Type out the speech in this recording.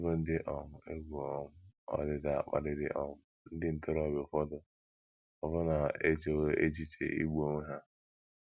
N’ịbụ ndị um egwu um ọdịda kpaliri um, ndị ntorobịa ụfọdụ ọbụna echewo echiche igbu onwe ha.